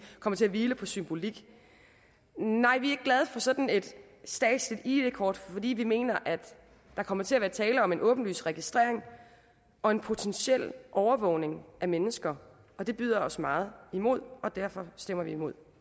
kommer til at hvile på symbolik nej vi ikke glade for sådan et statsligt id kort fordi vi mener at der kommer til at være tale om en åbenlys registrering og en potentiel overvågning af mennesker det byder os meget imod og derfor stemmer vi imod